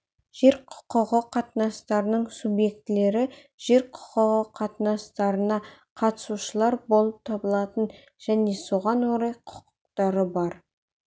жер құқығы қатынастарының субъектілері жер құқығы қатынастарына қатысушылар болып табылатын және соған орай құқықтары бар